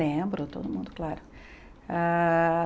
Lembro, todo mundo, claro. Ah